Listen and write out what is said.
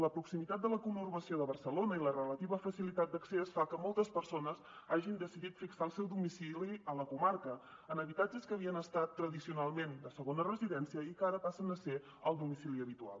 la proximitat de la conurbació de barcelona i la relativa facilitat d’accés fan que moltes persones hagin decidit fixar el seu domicili a la comarca en habitatges que havien estat tradicionalment de segona residència i que ara passen a ser el domicili habitual